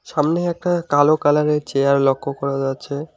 সামনেই একটা কালো কালারের চেয়ার লক্ষ্য করা যাচ্ছে।